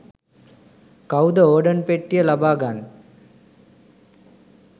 කවුද ඕර්ඩන් පෙට්ටිය ලබාගන්නෙ